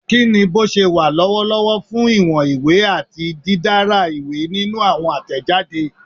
Kini boṣewa lọwọlọwọ fun iwọn iwe ati didara iwe ninu awọn atẹjade?